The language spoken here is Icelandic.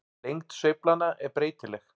Lengd sveiflanna er breytileg.